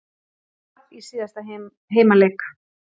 Tap í síðasta heimaleik